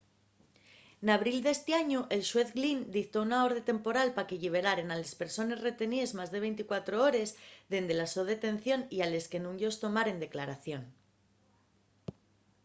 n'abril d'esti añu el xuez glynn dictó una orde temporal pa que lliberaren a les persones reteníes más de 24 hores dende la so detención y a les que nun-yos tomaren declaración